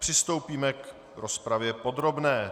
Přistoupíme k rozpravě podrobné.